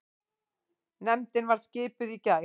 Nefndin var skipuð í gær.